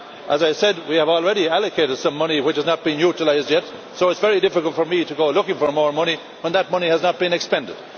money. As I said, we have already allocated some money which has not been utilised yet, so it is very difficult for me to go looking for more money when that money has not been expended.